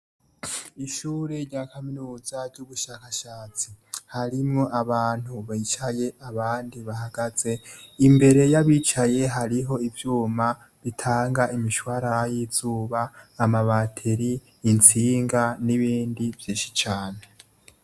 Ishuri rya kaminuza ry'ubushakashatsi harimwo abantu bicaye abandi bahagaze imbere yabicaye hariho ivyuma bitanga imishwara y'izuba amabateri intsinga n'ibindi vyishi cane.